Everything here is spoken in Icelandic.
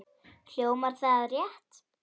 Hljómar það rétt?